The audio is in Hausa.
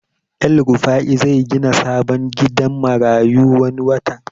El rufai zai gina sabon gidan marayu wani watan